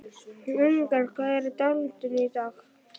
Lyngar, hvað er á dagatalinu í dag?